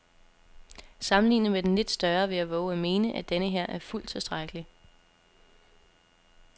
Sammenlignet med den lidt større vil jeg vove at mene, at denneher er fuldt tilstrækkelig.